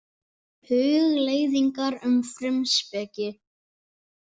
Hugleiðingar um frumspeki.